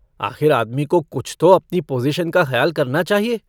आखिर आदमी को कुछ तो अपनी पोज़ीशन का खयाल करना चाहिए।